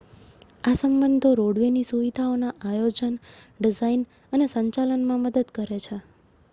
આ સંબંધો રોડવે ની સુવિધાઓના આયોજન ડિઝાઇન અને સંચાલનમાં મદદ કરે છે